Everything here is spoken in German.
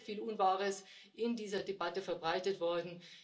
Es ist sehr, sehr viel Unwahres in dieser Debatte verbreitet worden.